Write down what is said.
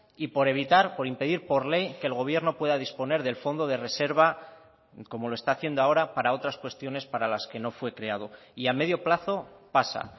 y por evitar por impedir por ley que el gobierno pueda disponer del fondo de reserva como lo está haciendo ahora para otras cuestiones para las que no fue creado y a medio plazo pasa